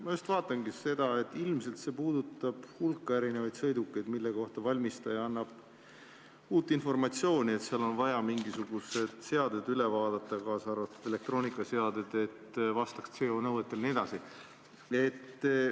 Ma just vaatangi, et ilmselt puudutab see hulka erinevaid sõidukeid, mille kohta valmistaja annab uut informatsiooni, et seal on vaja mingisugused seadmed üle vaadata, kaasa arvatud elektroonikaseadmed, et need vastaks CO2 nõuetele jne.